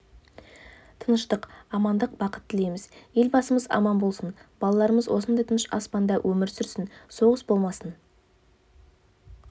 тыныштық амандық бақыт тілейміз елбасымыз аман болсын балаларымыз осындай тыныш аспанда өмір сүрсін соғыс болмасын